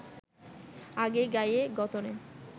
আগে গায়ে গতরে